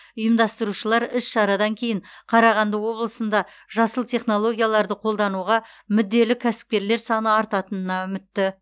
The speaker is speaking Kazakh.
ұйымдастырушылар іс шарадан кейін қарағанды облысында жасыл технологияларды қолдануға мүдделі кәсіпкерлер саны артатынына үмітті